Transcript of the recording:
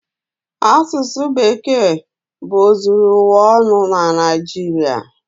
Asụsụ Bekee bụ ozuru ụwa ọnụ na Naịjirịa.